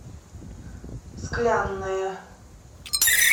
склянная